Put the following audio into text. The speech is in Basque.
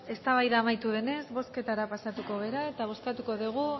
eztabaida amaitu denez bozketara pasatuko gara eta bozkatuko dugu